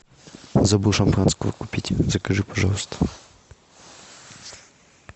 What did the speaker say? забыл шампанского купить закажи пожалуйста